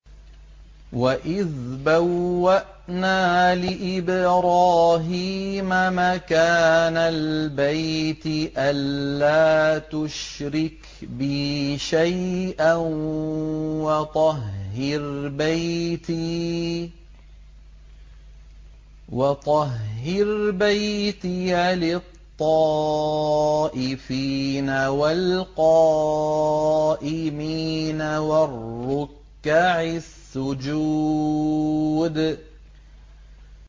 وَإِذْ بَوَّأْنَا لِإِبْرَاهِيمَ مَكَانَ الْبَيْتِ أَن لَّا تُشْرِكْ بِي شَيْئًا وَطَهِّرْ بَيْتِيَ لِلطَّائِفِينَ وَالْقَائِمِينَ وَالرُّكَّعِ السُّجُودِ